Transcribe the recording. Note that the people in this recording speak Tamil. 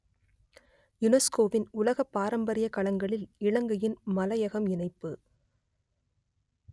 யுனெஸ்கோவின் உலக பாரம்பரியக் களங்களில் இலங்கையின் மலையகம் இணைப்பு